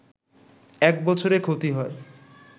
একবছরে ক্ষতি হয়